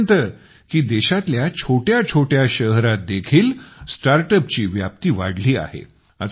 इथपर्यंत की देशातल्या छोट्याछोट्या शहरातदेखील StartUpची व्याप्ती वाढली आहे